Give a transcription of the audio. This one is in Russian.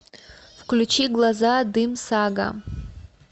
включи глаза дым сага